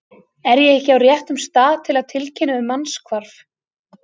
Er ég ekki á réttum stað til að tilkynna um mannshvarf?